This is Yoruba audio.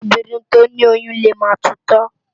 Óbírìn tó ni óyùn lé má tútò